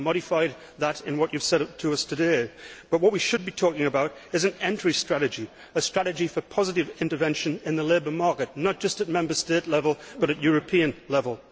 You have modified that in what you have said to us today. But what we should be talking about is an entry strategy, a strategy for positive intervention in the labour market, not just at Member State level but at European level.